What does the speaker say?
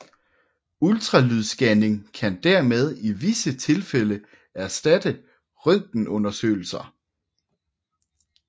Ultralydsscanning kan dermed i visse tilfælde erstatte røntgenundersøgelser